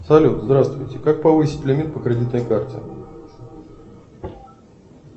салют здравствуйте как повысить лимит на кредитной карте